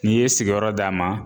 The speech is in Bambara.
N'i ye sigiyɔrɔ d'a ma